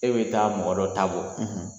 E bɛ taa mɔgɔ dɔ ta bɔ.